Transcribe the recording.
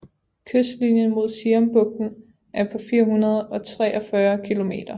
Kystlinjen mod Siambugten er på 443 kilometer